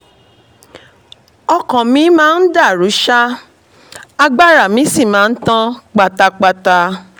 ọkàn mi máa ń dàrú ṣáá agbára mi sì máa ń tán pátápátá